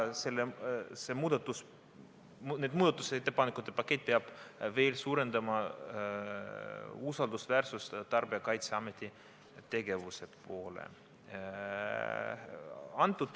See muudatusettepanekute pakett peab suurendama Tarbijakaitseameti tegevuse usaldusväärsust.